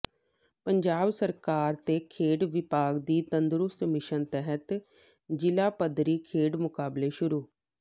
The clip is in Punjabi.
ਪੰਜਾਬ ਸਰਕਾਰ ਤੇ ਖੇਡ ਵਿਭਾਗ ਦੀ ਤੰਦਰੁਸਤ ਮਿਸ਼ਨ ਤਹਿਤ ਜ਼ਿਲ੍ਹਾ ਪੱਧਰੀ ਖੇਡ ਮੁਕਾਬਲੇ ਸ਼ੁਰੂ